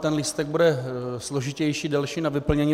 Ten lístek bude složitější, delší na vyplnění.